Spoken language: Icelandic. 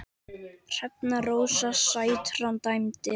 Hrefna Rósa Sætran dæmdi.